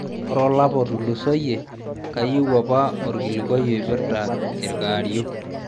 Ore olapa otulusoyie, kayieu apa orkirlikuai oipirta irkaario